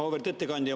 Auväärt ettekandja!